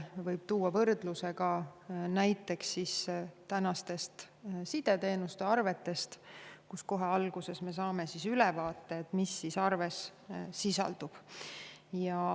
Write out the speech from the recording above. Võrdluse võib tuua näiteks sideteenuste arvetega, mille puhul me saame kohe alguses ülevaate sellest, mis täpselt arves sisaldub.